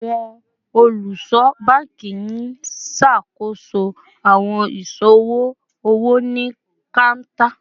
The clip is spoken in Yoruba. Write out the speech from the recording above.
Awọn oluso banki n ṣakoso awọn iṣowo owo ni counter